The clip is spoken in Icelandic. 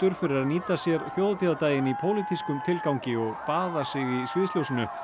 fyrir að nýta sér þjóðhátíðardaginn í pólitískum tilgangi og baða sig í sviðsljósinu